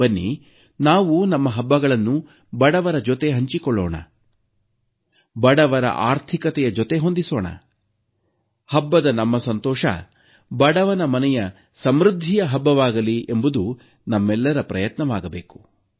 ಬನ್ನಿ ನಾವು ನಮ್ಮ ಹಬ್ಬಗಳನ್ನು ಬಡವರ ಜೊತೆ ಹಂಚಿಕೊಳ್ಳೋಣ ಬಡವರ ಆರ್ಥಿಕತೆಯ ಜೊತೆ ಹೊಂದಿಸೋಣ ಹಬ್ಬದ ನಮ್ಮ ಸಂತೋಷ ಬಡವನ ಮನೆಯ ಸಮೃದ್ಧಿಯ ಹಬ್ಬವಾಗಲಿ ಎಂಬುದು ನಮ್ಮೆಲ್ಲರ ಪ್ರಯತ್ನವಾಗಬೇಕು